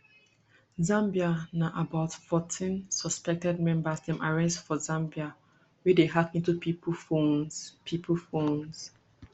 zambia na about fourteen suspected members dem arrest for zambia wey dey hack into pipo phones pipo phones